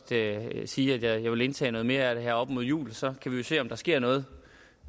sige at jeg vil indtage noget mere af det her op mod jul så kan vi jo se om der sker noget